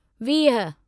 वीह